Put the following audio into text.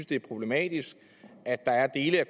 det er problematisk at der er dele af